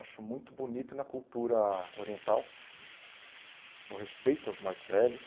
Acho muito bonito na cultura oriental o respeito aos mais velhos,